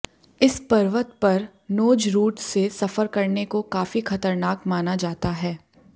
इस पर्वत पर नोज रूट से सफर करने को काफी खतरनाक माना जाता है